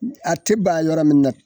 N a te ba yɔrɔ min na